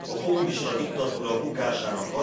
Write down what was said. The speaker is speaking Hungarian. A kommunista diktatúra bukásának